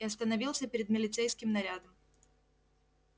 и остановился перед милицейским нарядом